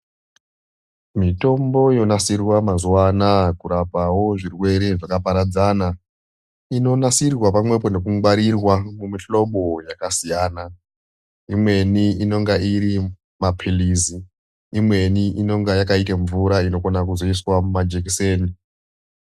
Mitombo yonasirwa mazuva anaya kurapawo zvirwere zvakaparadzana. Inonasirwa pamwepo nekungwarirwa ngemihlobo yakasiyana. Imweni irimaphirizi, imweni yakaite kungemvura inokone kuzoiswe mumajekiseni.